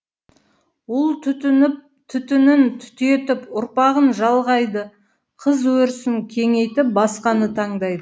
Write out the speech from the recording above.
ұл түтінін түтетіп ұрпағын жалғайды қыз өрісін кеңейтіп басқаны таңдайды